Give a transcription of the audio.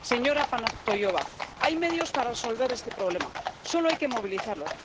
Señora Panayotova hay medios para resolver este problema, solo hay que movilizarlos.